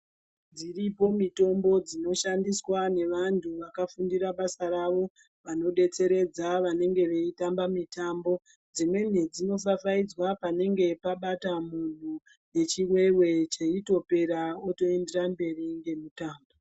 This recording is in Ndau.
Dziripo mitombo dzinoshandiswa nevanhu vakafundira basa ravo, vanodetseredza vanenge veitamba mitambo dzimweni dzinopfapfaidzwa panenge pabata munthu ngechiveve cheitopera otoenderera mberi ngemutambo.